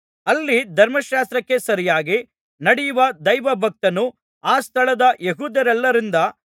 ಅಲ್ಲಿ ಧರ್ಮಶಾಸ್ತ್ರಕ್ಕೆ ಸರಿಯಾಗಿ ನಡೆಯುವ ದೈವಭಕ್ತನೂ ಆ ಸ್ಥಳದ ಯೆಹೂದ್ಯರೆಲ್ಲರಿಂದ